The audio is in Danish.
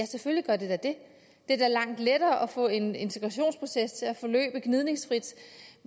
selvfølgelig gør det da det det er langt lettere at få en integrationsproces til at forløbe gnidningsfrit